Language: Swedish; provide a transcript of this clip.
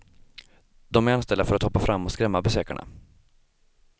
De är anställda för att hoppa fram och skrämma besökarna.